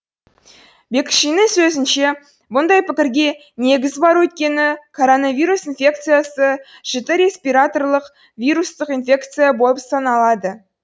бекшиннің сөзінше бұндай пікірге негіз бар өйткені коронавирус инфекциясы жіті респираторлық вирустық инфекция болып саналады